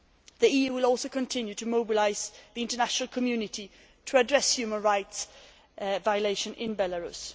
The EU will also continue to mobilise the international community to address human rights violations in Belarus.